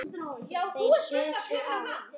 Þeir supu á.